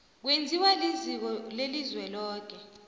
kwenziwa liziko lelizweloke